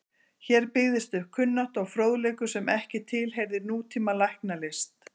Hér byggðist upp kunnátta og fróðleikur sem ekki tilheyrði nútíma læknislist.